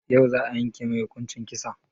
Yau za a yanke mai hukuncin kisa?